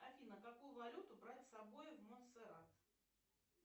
афина какую валюту брать с собой в монсерат